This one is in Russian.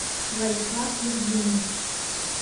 владислав евгеньевич